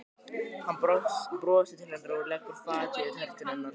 Hann brosir til hennar og leggur fatið hjá tertunni hennar.